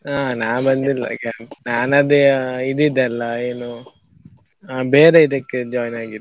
ಹಾ ನಾನ್ ಅದೇ ಇದು ಇದ್ದೆಯಲ್ಲಾ ಏನು ಬೇರೆ ಇದಕ್ಕೆ join ಆಗಿದ್ದು.